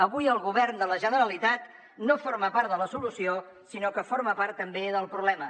avui el govern de la generalitat no forma part de la solució sinó que forma part també del problema